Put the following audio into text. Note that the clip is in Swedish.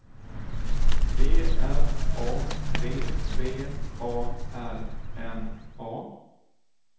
G R A B B A R N A